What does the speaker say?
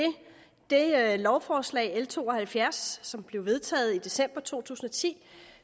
lovforslag l to og halvfjerds som blev vedtaget i december to tusind og ti